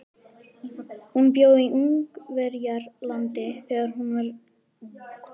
Hún bjó í Ungverjalandi þegar hún var ung.